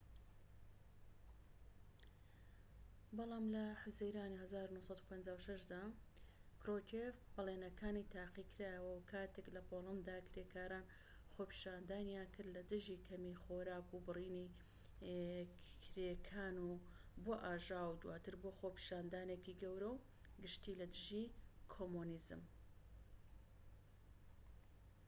بەڵام لە حوزەیرانی ١٩٥٦ دا، کروچێف بەڵینەکانی تاقیکرایەوە کاتێک لە پۆلەندا کرێکاران خۆپیشاندانیان کرد لە دژی کەمی خۆراک و بڕینی کرێکان و بووە ئاژاوە و دواتر بووە خۆپیشاندانێکی گەورە و گشتی لە دژی کۆمۆنیزم